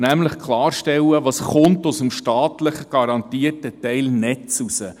Nämlich klarstellen, was aus dem staatlich garantierten Teil Netze herauskommt.